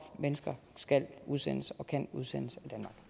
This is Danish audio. mennesker skal udsendes og kan udsendes